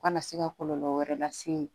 U kana se ka kɔlɔlɔ wɛrɛ lase